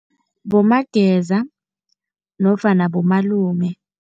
Bomageza nofana bomalume.